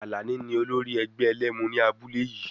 Alani ni olórí ẹgbẹ́ ẹlẹ́mu ní abúlé yìí.